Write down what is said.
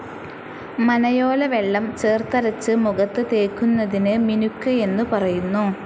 മനയോല വെള്ളം ചേർത്തരച്ച് മുഖത്ത് തേയ്ക്കുന്നതിന് മിനുക്ക് എന്നു പറയുന്നു.